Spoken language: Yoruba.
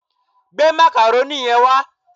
Gbé macaroni yẹn wá